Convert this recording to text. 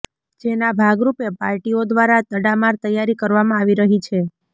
જેના ભાગરૂપે પાર્ટીઓ દ્વારા તડામાર તૈયારી કરવામાં આવી રહી છે